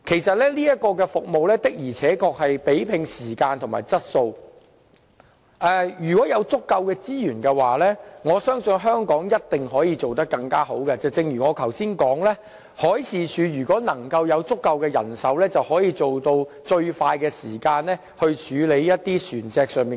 這項服務確實是以時間和質素取勝，如果有足夠資源，我相信香港一定可以做得更好，正如我剛才說，如果海事處有足夠的人手，便可以做到以最快時間處理船隻求助個案。